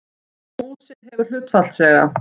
Músin hefur hlutfallslega